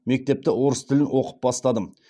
мектепті орыс тілін оқып бастадым